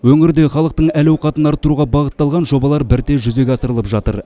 өңірде халықтың әл ауқатын арттыруға бағытталған жобалар бірте жүзеге асырылып жатыр